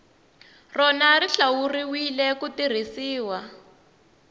rona xi hlawuriwile ku tirhisiwa